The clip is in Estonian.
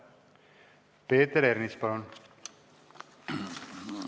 Peeter Ernits, palun!